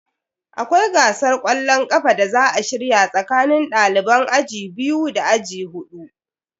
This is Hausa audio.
Akwai gasar kwallon kafa da za a shirya tsakanin daliban aji biyu da aji hudu.